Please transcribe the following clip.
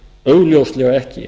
augljóslega ekki